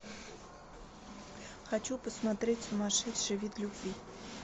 хочу посмотреть сумасшедший вид любви